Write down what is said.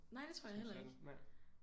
Nej det tror jeg heller ikke